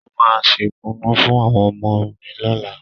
Mo máa ṣe kùnú fún àwọn ọmọ mi lọ́la